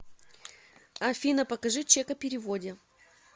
афина покажи чек о переводе